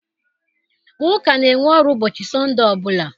Ụka na-enwe ọrụ ụbọchị Sọnde ọ bụla.